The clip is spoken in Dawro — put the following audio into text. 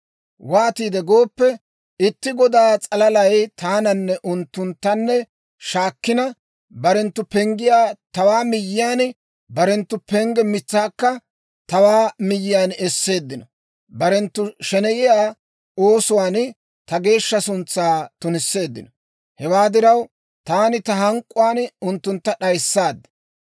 Waatiide gooppe, itti godaa s'alalay taananne unttunttanne shaakkina, barenttu penggiyaa tawaa miyyiyaan, barenttu pengge mitsaakka tawaa miyyiyaan esseeddino. Barenttu sheneyiyaa oosuwaan ta geeshsha suntsaa tunisseeddino. Hewaa diraw, taani ta hank'k'uwaan unttuntta d'ayissaad.